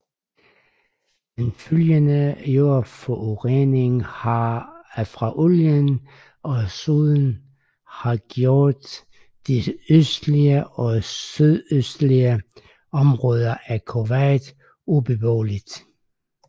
Den følgende jordforurening fra olien og soden har gjort de østlige og sydøstlige områder af Kuwait ubeboelige